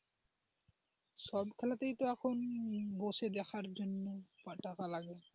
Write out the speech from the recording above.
সব খেলাতেই তো এখন বসে দেখার জন্য এখন টাকা লাগে।